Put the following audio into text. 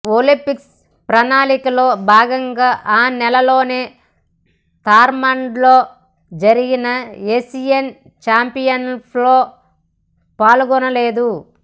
Olympics ప్రణాళికలో భాగంగా ఆ నెలలోనే థాయ్లాండ్లో జరిగిన ఏషియన్ చాంపియన్షిప్స్లో పాల్గొనలేదు